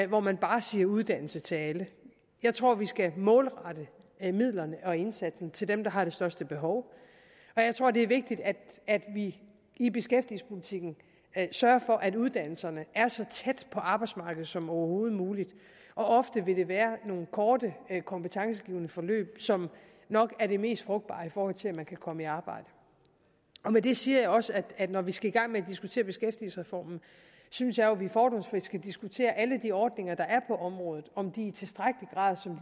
hvor man bare siger uddannelse til alle jeg tror vi skal målrette midlerne og indsatsen til dem der har det største behov og jeg tror det er vigtigt at vi i beskæftigelsespolitikken sørger for at uddannelserne er så tæt på arbejdsmarkedet som overhovedet muligt ofte vil det være nogle korte kompetencegivende forløb som nok er det mest frugtbare i forhold til at man kan komme i arbejde og med det siger jeg også at når vi skal i gang med at diskutere beskæftigelsesreformen synes jeg at vi fordomsfrit skal diskutere alle de ordninger der er på området og om de